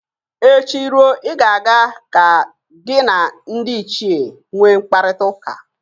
Echi ruo, ị ga-aga ka gị na ndị ichie nwe mkparịtaụka